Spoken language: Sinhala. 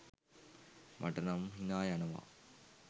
මට නම් හිනා යනවා.